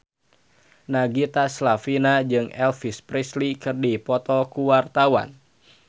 Nagita Slavina jeung Elvis Presley keur dipoto ku wartawan